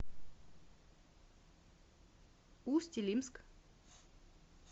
усть илимск